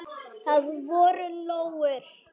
Það voru lóur.